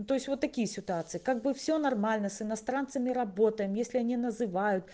ну то есть вот такие ситуации как бы все нормально с иностранцами работаем если они называют